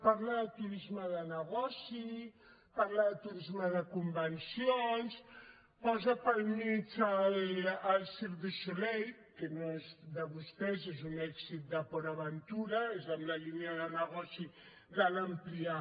parla de turisme de negoci parla de turisme de convencions posa pel mig el cirque du soleil que no és de vostès és un èxit de port aventura és en la línia de negoci de l’ampliar